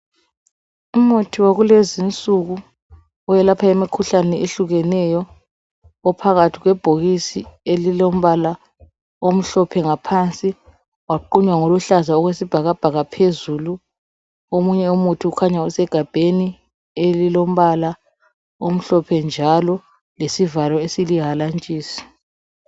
Umuthi wakulezi insuku welapha imikhuhlane eyehlukeneyo ophakathi kwebhokisi elilombala omhlophe ngaphansi waqunywa ngoluhlaza okwesibhakabhaka phezulu omunye umuthi ukhanya usegabheni elilombala omhlophe njalo lesivalo esilihalantshisi.